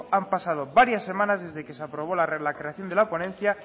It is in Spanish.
han pasado varias semanas desde que se aprobó la creación de la ponencia